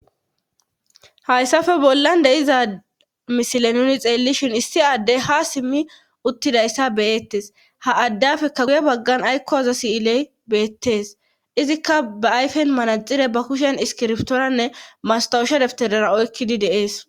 hayssafe bollan de'iza misile nuni xeellishin issi addey ha simmi uttidayssa beyettes ha addafekka guye baggan aykkoza siyiley beettees izikka ba ayfen manaxire ba kushen iskirbtooranne mastowusha deptedara oykkidi de'ees